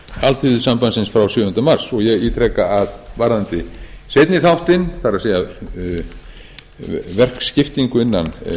alþýðusambandsins frá sjöunda mars og ég ítreka að varðandi seinni þáttinn það er verkskiptingu innan